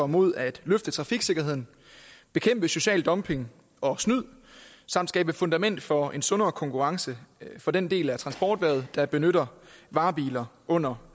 mod at løfte trafiksikkerheden bekæmpe social dumping og snyd samt skabe et fundament for en sundere konkurrence for den del af transporterhvervet der benytter varebiler under